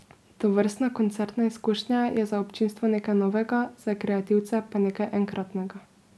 Tovrstna koncertna izkušnja je za občinstvo nekaj novega, za kreativce pa nekaj enkratnega.